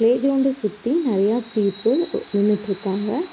Play கிரவுண்ட சுத்தி நெறையா people ஒ நின்னுட்டுருக்காங்க.